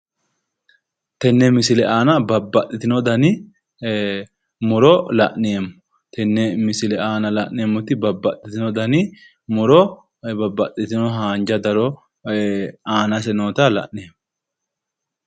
Tenne misile aana babbaxxino dani muro la'neemmo